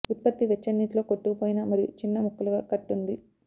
ఉత్పత్తి వెచ్చని నీటిలో కొట్టుకుపోయిన మరియు చిన్న ముక్కలుగా కట్ ఉంది